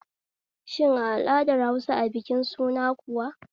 Shin a al'adar Hausa a bikin suna kuwa